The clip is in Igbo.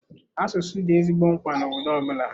Asụsụ dị ezigbo mkpa na obodo ọbụla.